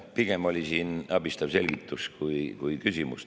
Pigem oli siin abistav selgitus kui küsimus.